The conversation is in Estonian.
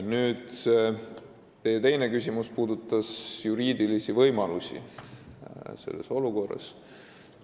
Nüüd, teie küsimuse teine pool puudutas juriidilisi võimalusi selles olukorras.